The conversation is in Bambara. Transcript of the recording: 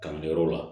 Kalanyɔrɔ la